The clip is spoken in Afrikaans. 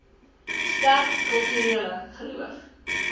sterk kulturele geloof